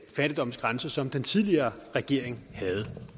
fattigdomsgrænse som den tidligere regering havde